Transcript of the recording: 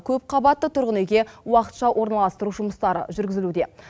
көпқабатты тұрғын үйге уақытша орналастыру жұмыстары жүргізілуде